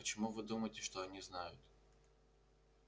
а почему вы думаете что они знают